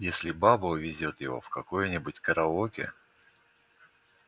если баба увезёт его в какое-нибудь караоке